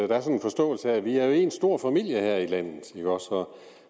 der er en forståelse af at vi jo er en stor familie her i landet